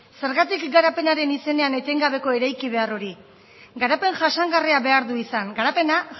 zergatik garapenaren izenean etengabeko eraiki behar hori garapen jasangarria behar du izan garapena